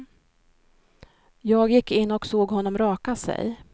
Jag gick in och såg honom raka sig.